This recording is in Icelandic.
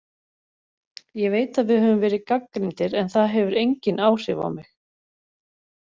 Ég veit að við höfum verið gagnrýndir en það hefur engin áhrif á mig.